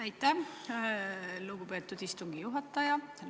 Aitäh, lugupeetud istungi juhataja!